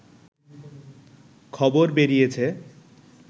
খবর বেরিয়েছে